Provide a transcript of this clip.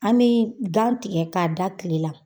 An me gan tigɛ k'a da kile la